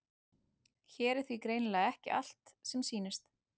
Hér er því greinilega ekki allt sem sýnist.